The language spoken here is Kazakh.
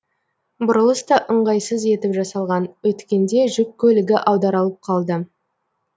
бұрылыс та ыңғайсыз етіп жасалған өткенде жүк көлігі аударалып қалды